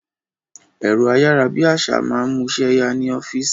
Ẹ̀rọ ayárabíàṣá máa ń mú iṣẹ́ ya ni ọ́fíìsì